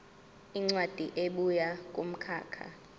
incwadi ebuya kumkhakha